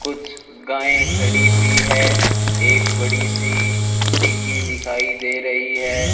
कुछ गाएं खड़ी हुई है एक बड़ी सी डिग्गी दिखाई दे रही है।